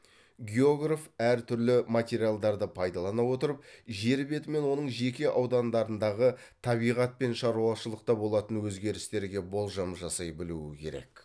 географ әр түрлі материалдарды пайдалана отырып жер беті мен оның жеке аудандарындағы табиғат пен шаруашылықта болатын өзгерістерге болжам жасай білуі керек